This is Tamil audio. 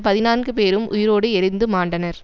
பதினான்கு பேரும் உயிரோடு எரிந்து மாண்டனர்